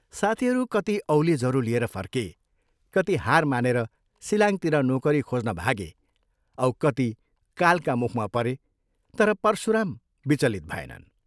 साथीहरू कति औले जरो लिएर फर्के, कति हार मानेर शिलाङ्गतिर नोकरी खोज्न भागे औ कति कालका मुखमा परे तर परशुराम विचलित भएनन्।